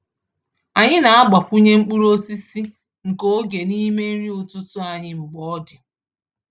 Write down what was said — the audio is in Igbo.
Anyị na-agbakwụnye mkpụrụ osisi nke oge n’ime nri ụtụtụ anyị mgbe ọ dị.